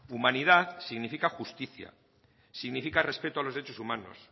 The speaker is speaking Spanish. humanidad significa justicia significa respeto a los derechos humanos